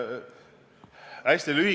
Madis Milling, palun!